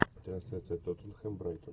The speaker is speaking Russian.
трансляция тоттенхэм брайтон